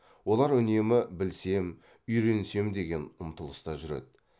олар үнемі білсем үйренсем деген ұмтылыста жүреді